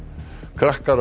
krakkar